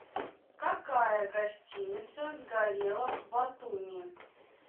какая гостиница сгорела в батуми